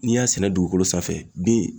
N'i y'a sɛnɛ dugukolo sanfɛ bin